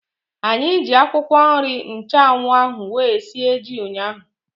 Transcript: Anyị ji akwụkwọ nri nchanwu ahu wee sie ji ụnyaahụ